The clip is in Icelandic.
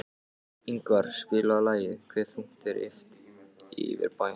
Ingvar, spilaðu lagið „Hve þungt er yfir bænum“.